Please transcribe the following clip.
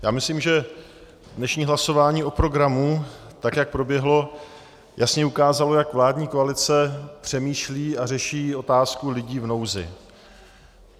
Já myslím, že dnešní hlasování o programu, tak jak proběhlo, jasně ukázalo, jak vládní koalice přemýšlí a řeší otázku lidí v nouzi.